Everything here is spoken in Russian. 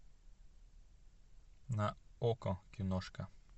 на окко киношка